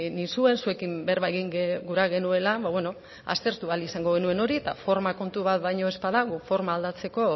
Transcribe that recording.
nizuen zuekin berba egin gura genuela aztertu ahal izango genuen hori eta forma kontu bat baino ez bada guk forma aldatzeko